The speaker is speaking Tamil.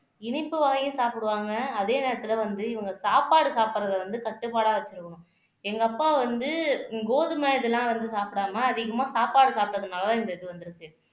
இனிப்பு வாங்கி சாப்பிடுவாங்க அதே நேரத்துல வந்து இவங்க சாப்பாடு சாப்பிடுறதை வந்து கட்டுப்பாடா வச்சுருக்கனு எங்க அப்பா வந்து கோதுமை இதெல்லாம் வந்து சாப்பிடாம அதிகமா சாப்பாடு சாப்பிட்டதுனாலதான் இந்த இது வந்திருக்கு